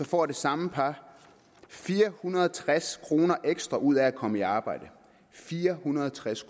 får det samme par fire hundrede og tres kroner ekstra ud af at komme i arbejde fire hundrede og tres